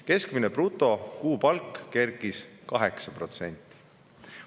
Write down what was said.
Keskmine brutokuupalk kerkis 8%.